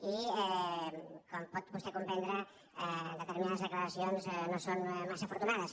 i com pot vostè comprendre determinades declaracions no són massa afortunades